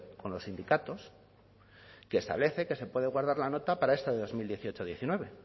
con los sindicatos que establece que se puede guardar la nota para esta de dos mil dieciocho diecinueve